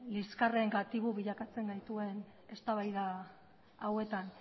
liskarren gatibu bilakatzen gaituen eztabaida hauetan